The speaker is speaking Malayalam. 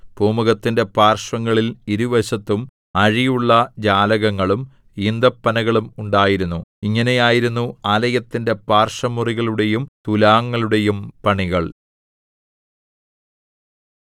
പൂമുഖത്തിന്റെ പാർശ്വങ്ങളിൽ ഇരുവശത്തും അഴിയുള്ള ജാലകങ്ങളും ഈന്തപ്പനകളും ഉണ്ടായിരുന്നു ഇങ്ങനെയായിരുന്നു ആലയത്തിന്റെ പാർശ്വമുറികളുടെയും തുലാങ്ങളുടെയും പണികൾ